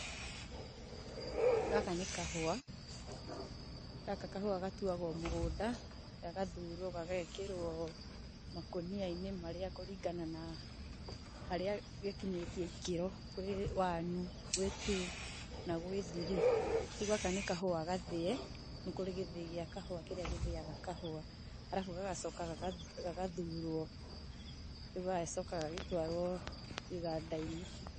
Gaka ni kahüa, gaka kahũa gatuagwo mũgũnda gagathurwo gagekĩrwo makonia-inĩ marĩa kũringana na harĩa gĩkinyĩtie ikĩro, kwĩ, one gwĩ two na gwĩ three. Rĩu gaka ni kahũa gathĩe, nĩ kũrĩ gĩthĩi gia kahũa kĩrĩa gĩthĩaga kahũa. Harabu gagacoka gagathurwo, rĩu gagagicoka gagatwarwo iganda-inĩ